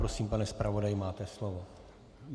Prosím, pane zpravodaji, máte slovo.